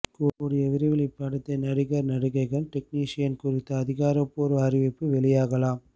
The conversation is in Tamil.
கூடிய விரைவில் இப்படத்தின் நடிகர் நடிகைகள் டெக்னீஷியன் குறித்த அதிகாரப்பூர்வ அறிவிப்பு வெளியாகலாம்